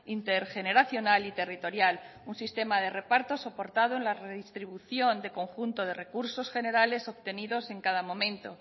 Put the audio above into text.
intergeneracional y territorial un sistema de reparto soportado en la redistribución de conjunto de recursos generales obtenidos en cada momento